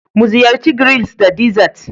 Muziyarci grills da dessert